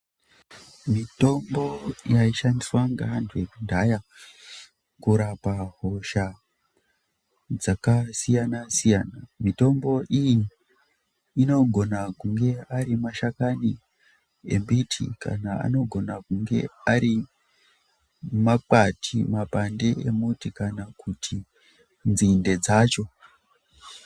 Mitombo yaishandiswa nevantu vekudhaya kurapa hosha dzakasiyana siyana mitombo iyi anogona kunge Ari mashakani nembiti anogona nemakwati nemabhande kana nzinde dzacho.